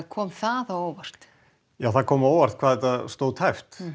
kom það á óvart já það kom á óvart hvað þetta stóð tæpt